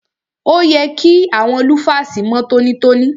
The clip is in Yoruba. Òye kí àwọn lúfàsì mọ́ tọ́nítọ́ní.